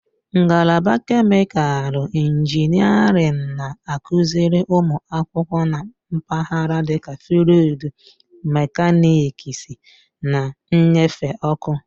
Ngalaba kemịkalụ injiniarin na-akụziri ụmụ akwụkwọ na mpaghara dịka fluịd mekaniksi na nnyefe ọkụ.